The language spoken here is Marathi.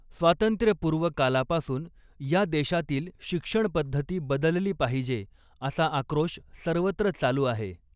स्वातंत्र्यपूर्वकाला पासून या देशातील शिक्षणपद्धती बदलली पाहिजे असा आक्रोश सर्वत्र चालू आहे.